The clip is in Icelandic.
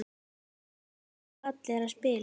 Fá allir að spila?